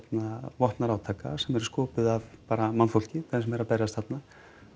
vopnaðra átaka sem eru sköpuð af mannfólki þeim sem eru að berjast þarna